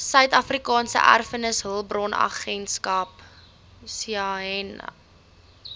suidafrikaanse erfenishulpbronagentskap saeha